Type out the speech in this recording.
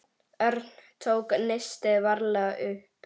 Örn tók nistið varlega upp.